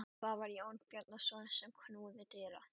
Það var Jón Bjarnason sem knúði dyra.